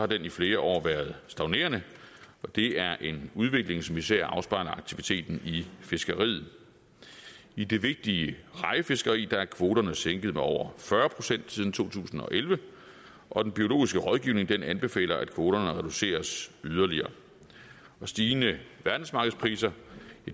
den i flere år været stagnerende og det er en udvikling som især afspejler aktiviteten i fiskeriet i det vigtige rejefiskeri er kvoterne sænket med over fyrre procent siden to tusind og elleve og den biologiske rådgivning anbefaler at kvoterne reduceres yderligere stigende verdensmarkedspriser